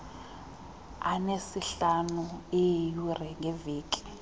anesihlanu eeyure ngeveki